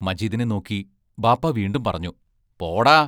മജീദിനെ നോക്കി ബാപ്പാ വീണ്ടും പറഞ്ഞു: പോടാ